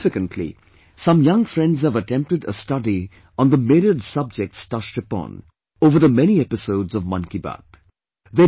Significantly, some young friends have attempted a study on the myriad subjects touched upon, over the many episodes of 'Mann Ki Baat'